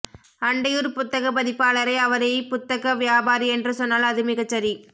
அண்டையூர் புத்தகப் பதிப்பாளரை அவரை ப்புத்தக வியாபாரி என்று சொன்னால் அது மிகச்சரி